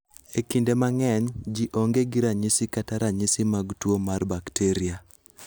Ekinde mang'eny, ji onge gi ranyisi kata ranyisi mag tuo mar bakteria.